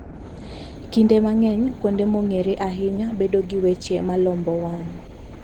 Kinde mang'eny, kuonde mong'ere ahinya bedo gi weche ma lombo wang'.